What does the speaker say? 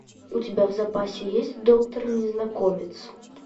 у тебя в запасе есть доктор незнакомец